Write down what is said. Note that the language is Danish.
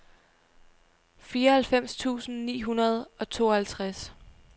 fireoghalvfems tusind ni hundrede og tooghalvtreds